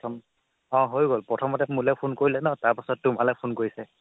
অ' হৈ গ'ল প্ৰথমতে মোলে phone কৰিলে ন তাৰপাছত তোমালে phone কৰিছে